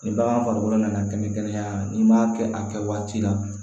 Ni bagan farikolo nana kɛnɛ kɛnɛya n'i m'a kɛ a kɛ waati la